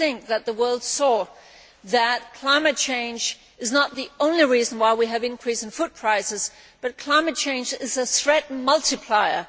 I think that the world saw that climate change is not the only reason why we have increases in food prices, but climate change is a threat multiplier.